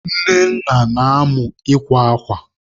Nnenna na-amụ ịkwa akwa.